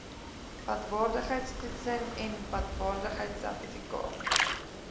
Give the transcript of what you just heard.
padwaardigheidtoetsing n padwaardigheidsertifikaat